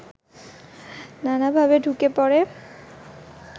নানা ভাবে ঢুকে পড়ে